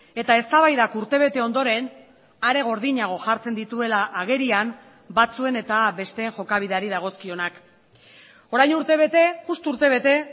eta eztabaidak urtebete ondoren are gordinago jartzen dituela agerian batzuen eta besteen jokabideari dagozkionak orain urtebete justu urtebete